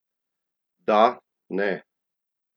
Da ne?